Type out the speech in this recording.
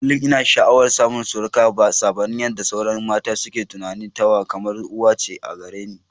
Kullum ina sha'awar samun surukata, sabanin yadda sauran mata suke tunani, tawa kamar uwa ce a gare ni.